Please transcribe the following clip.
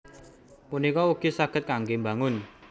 punika ugi saged kanggé mbangun